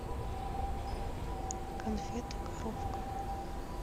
конфеты коровка